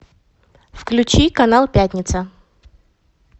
включи канал пятница